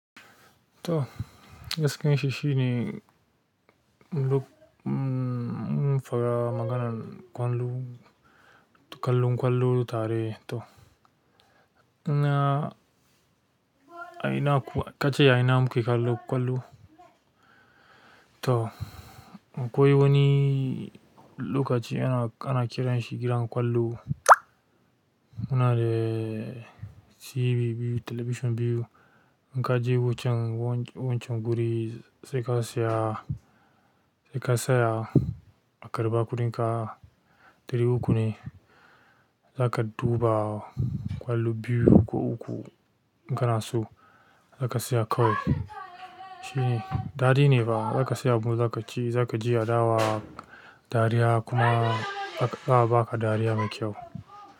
To, gaskiyan shi shine, lok-- mmm, mun faɗa maganan ƙwallo, kallon ƙwallo tare to. Ina, a ina kuwa, kace a ina muke kallon ƙwallo? To, akwai wani lokaci ana, ana kiran shi gidan ƙwallo. Muna da TV biyu, talabishin biyu. In ka je wancan wancan wancan wancan guri sai ka saya, sai ka saya, a karɓa kuɗinka, ɗari uku ne, za ka duba ƙwallo biyu ko uku. In kana so za ka tsaya kawai. Shi ne, dadine ba za ka saya abu za ka ci, za ka je adawa dariya kuma a ba ka dariya mai kyau.